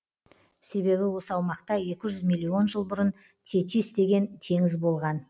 себебі осы аумақта екі жүз миллион жыл бұрын тетис деген теңіз болған